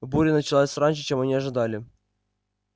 буря началась раньше чем они ожидали